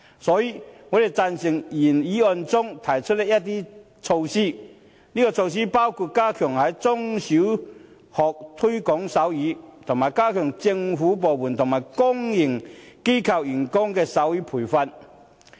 所以，我們贊成原議案中提出的一些措施，包括"加強在中、小學推廣手語"，以及"為所有政府部門及公營機構員工提供手語培訓"。